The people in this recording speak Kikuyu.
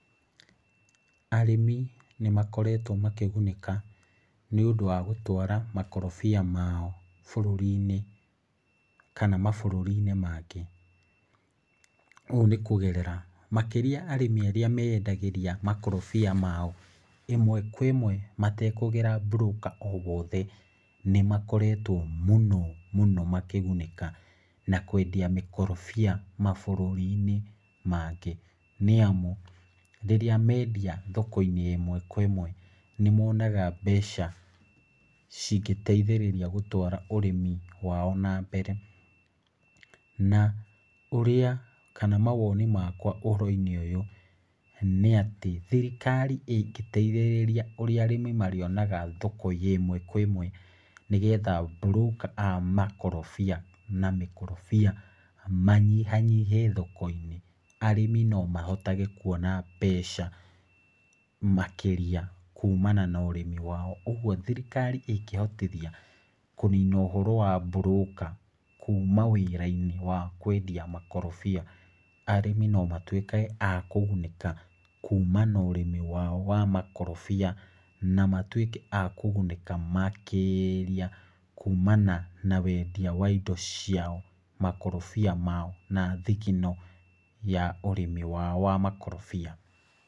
Arĩmi nĩ makoretwo makĩgunĩka, nĩ ũndũ wa gũtwara makorobia mao bũrũri-inĩ kana mabũrũri-inĩ mangĩ. Ũũ nĩ kũgerera, makĩria arĩmi arĩa meyendagĩria makorobia mao, ĩmwe kwa ĩmwe matekũgera broker o wothe, nĩ makoretwo mũno mũno makĩgunĩka na kwendia mĩkorobia mabũrũri-inĩ mangĩ. Nĩ amu, rĩrĩa mendia thoko-inĩ ĩmwe kwa ĩmwe nĩ monaga mbeca cingĩteithĩrĩria gũtwara ũrĩmi wao na mbere. Na ũrĩa, kana mawoni makwa ũhoro-inĩ ũyũ, nĩ atĩ, thirikari ĩngĩteithĩrĩria ũria arĩmi marĩonaga thoko ya ĩmwe kwa ĩmwe, nĩgetha broker a makorobia na mĩkorobia manyihanyihe thoko-inĩ, arĩmi na mahotage kuona mbeca makĩria kumana na ũrĩmi wao. Ũguo thirikari ĩngĩhotithia kũnina ũhoro wa broker, kuma wĩra-inĩ wa kwendia makorobia, arĩmi no matuĩkage a kũgunĩka, kuma na ũrĩmi wao wa makorobia, na matuĩke a kũgunĩka makĩria, kumana na wendia wa indo ciao, makorobia mao, na thigino ya ũrĩmi wao wa makorobia.